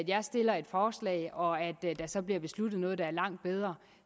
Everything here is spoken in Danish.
jeg stiller et forslag og der så bliver besluttet noget der er langt bedre